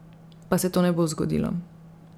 Pa se to ne bo zgodilo.